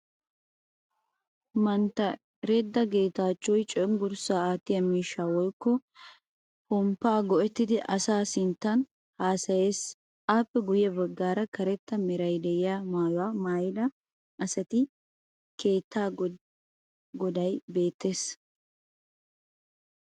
Mantta Redda Geetaachchoy cenggurssaa aattiya miishshaa woyikko pomppaa go'ettidi asaa sinttaani haasayees. Appe guyye baggaara karetta merayi de'iyo maayuwa maayida asatinne keettaa godayi beettees.